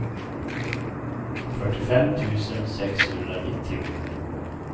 fyrtiofem tusen sexhundranittio